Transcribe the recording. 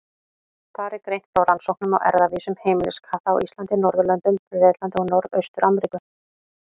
Þar er greint frá rannsóknum á erfðavísum heimiliskatta á Íslandi, Norðurlöndum, Bretlandi og norðausturströnd Ameríku.